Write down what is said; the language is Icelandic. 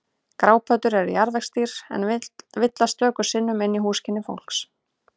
Grápöddur eru jarðvegsdýr en villast stöku sinnum inn í húsakynni fólks.